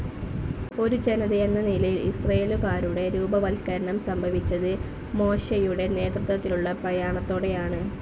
ഒരു ജനതയെന്ന നിലയിൽ ഇസ്രയേലുകാരുടെ രൂപവത്കരണം സംഭവിച്ചത് മോശയുടെ നേതൃത്വത്തിലുള്ള പ്രയാണത്തോടെയാണ്.